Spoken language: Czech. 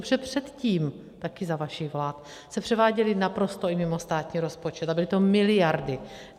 Protože předtím, také za vašich vlád, se převáděly naprosto i mimo státní rozpočet, a byly to miliardy.